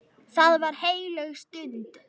Það var heilög stund.